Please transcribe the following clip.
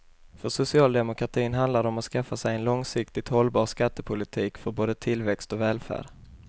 För socialdemokratin handlar det om att skaffa sig en långsiktigt hållbar skattepolitik för både tillväxt och välfärd.